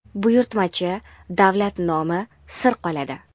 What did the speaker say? buyurtmachi davlat nomi sir qoladi.